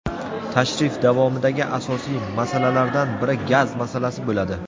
tashrif davomidagi asosiy masalalardan biri gaz masalasi bo‘ladi.